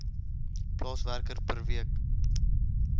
plaaswerker per week